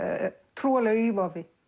trúarlegu ívafi